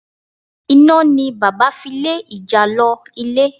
Iná ni bàbá fi lé ìjàlọ ilé.